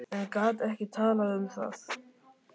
En gat ekki talað um það.